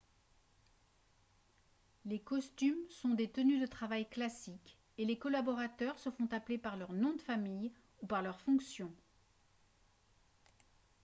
les costumes sont des tenues de travail classiques et les collaborateurs se font appeler par leur nom de famille ou par leur fonction